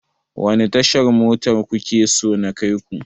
Wani tashar mota kuke so na kai ku?